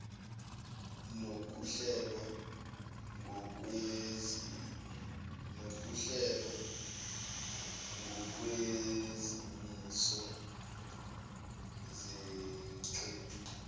nokuhlelwa ngokwezimiso zeqembu